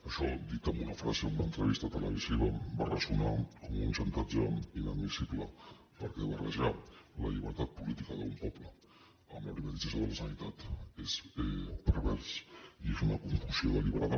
això dit en una frase en una entrevista televisiva va ressonar com un xantatge inadmissible perquè barrejar la llibertat política d’un poble amb la privatització de la sanitat és pervers i és una confusió deliberada